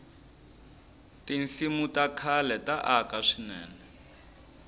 tinsimu ta khale ta aka swinene